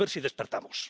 A ver si despertamos.